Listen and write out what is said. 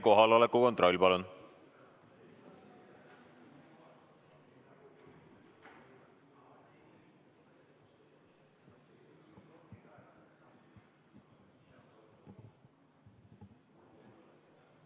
Kohaloleku kontroll, palun!